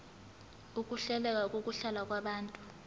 ukuhleleka kokuhlala kwabantu